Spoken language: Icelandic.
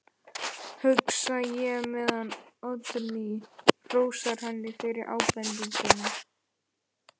hugsa ég meðan Oddný hrósar henni fyrir ábendinguna.